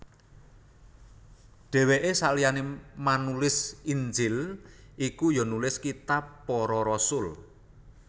Dhèwèke saliyané manulis Injil iku ya nulis kitab Para Rasul